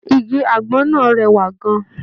Igi àgbọn náà rẹwà gan-an.